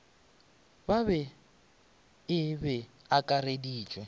ba e be e akareditšwe